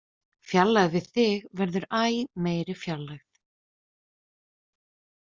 Fjarlægð við þig verður æ meiri fjarlægð.